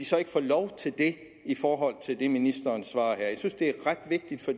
så ikke få lov til det i forhold til det som ministeren svarer her jeg synes det er ret vigtigt for